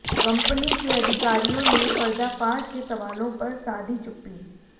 company के अधिकारियों ने पर्दाफाश के सवालों पर साधी चुप्पी